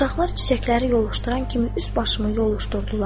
Uşaqlar çiçəkləri yoluşduran kimi üst-başımı yoluşdurdular.